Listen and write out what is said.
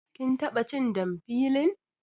Kin taɓa cin damfilin